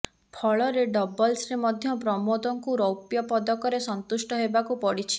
ଫଳରେ ଡବଲ୍ସରେ ମଧ୍ୟ ପ୍ରମୋଦଙ୍କୁ ରୌପ୍ୟ ପଦକରେ ସନ୍ତୁଷ୍ଟ ହେବାକୁ ପଡ଼ିଛି